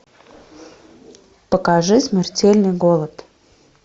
покажи смертельный голод